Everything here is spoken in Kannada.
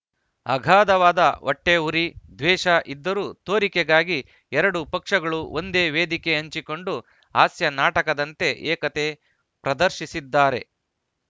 ಅಗಾಧವಾದ ಹೊಟ್ಟೆಉರಿ ದ್ವೇಷ ಇದ್ದರೂ ತೋರಿಕೆಗಾಗಿ ಎರಡೂ ಪಕ್ಷಗಳು ಒಂದೇ ವೇದಿಕೆ ಹಂಚಿಕೊಂಡು ಹಾಸ್ಯ ನಾಟಕದಂತೆ ಏಕತೆ ಪ್ರದರ್ಶಿಸಿದ್ದಾರೆ